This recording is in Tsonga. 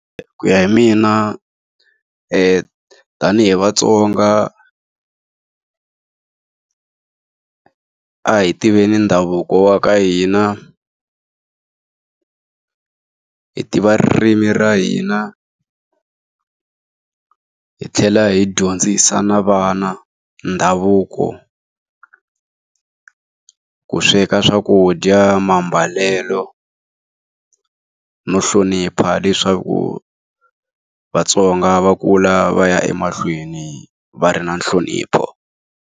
Ku ya hi mina tanihi vaTsonga a hi tiveni ndhavuko wa ka hina. Hi tiva ririmi ra hina hi tlhela hi dyondzisa na vana ndhavuko. Ku sweka swakudya, mambalelo, no hlonipha leswaku vaTsonga va kula va ya emahlweni va ri na nhlonipho.